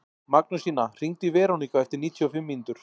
Magnúsína, hringdu í Veroniku eftir níutíu og fimm mínútur.